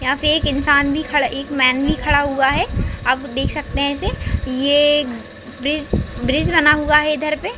यहाँ पे एक इंसान भी खड़ा एक मैन भी खड़ा हुआ है आप देख सकते है इसे ये ब्रीज ब्रीज बना हुआ है इधर पे --